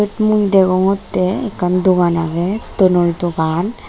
mui degongotte ekkan dogan agey tonor dogan.